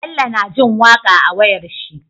Bello na jin waƙa a wayar shi